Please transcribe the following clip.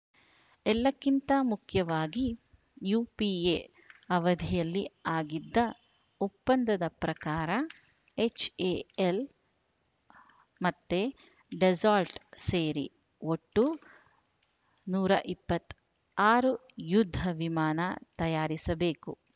ಎಲ್ಲಕ್ಕಿಂತ ಮುಖ್ಯವಾಗಿ ಯುಪಿಎ ಅವದಿಯಲ್ಲಿ ಆಗಿದ್ದ ಒಪ್ಪಂದದ ಪ್ರಕಾರ ಎಚ್‌ಎಎಲ್‌ ಮತ್ತ ಡೆಸ್ಸಾಲ್ಟ್‌ ಸೇರಿ ಒಟ್ಟು ನೂರ ಇಪ್ಪತ್ತಾರು ಯುದ್ಧ ವಿಮಾನ ತಯಾರಿಸಬೇಕು